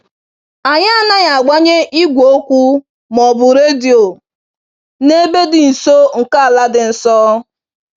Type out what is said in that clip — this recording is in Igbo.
Anyị anaghị agbanye igwe okwu ma ọ bụ redio n'ebe dị nso nke ala dị nsọ.